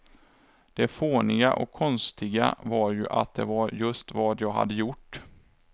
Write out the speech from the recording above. Det fåniga och konstiga var ju att det var just vad jag hade gjort.